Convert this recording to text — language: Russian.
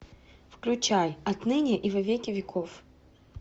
включай отныне и во веки веков